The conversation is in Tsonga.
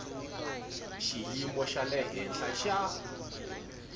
xiyimo xa le henhla xa